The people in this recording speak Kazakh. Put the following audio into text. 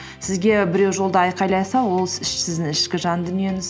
сізге біреу жолда айқайласа ол сіздің ішкі жан дүниеңіз